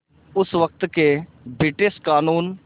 उस वक़्त के ब्रिटिश क़ानून